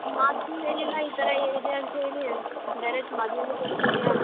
ಮಾತು ಹೇಳಿಲ್ಲ ಈತರ ಇದೆ ಅಂತ್ ಹೇಳಿ. Direct ಮದ್ವೆಗೆ ಕರಿತಿದ್ಯಾ?